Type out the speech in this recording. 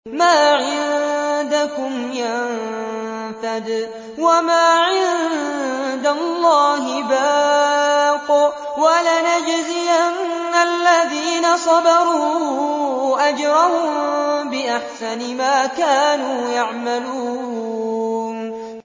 مَا عِندَكُمْ يَنفَدُ ۖ وَمَا عِندَ اللَّهِ بَاقٍ ۗ وَلَنَجْزِيَنَّ الَّذِينَ صَبَرُوا أَجْرَهُم بِأَحْسَنِ مَا كَانُوا يَعْمَلُونَ